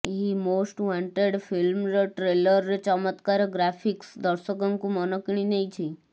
ଏହି ମୋଷ୍ଟଆୱଟେଡ୍ ଫିଲ୍ମର ଟ୍ରେଲରରେ ଚମତ୍କାର ଗ୍ରାଫିକ୍ସ ଦର୍ଶକଙ୍କୁ ମନ କିଣିନେଇଛି